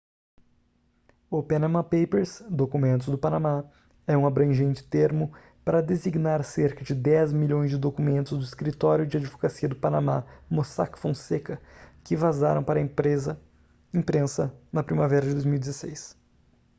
o panama papers documentos do panamá é um abrangente termo para designar cerca de dez milhões de documentos do escritório de advocacia do panamá mossack fonseca que vazaram para a imprensa na primavera de 2016